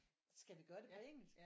Skal vi gøre det på engelsk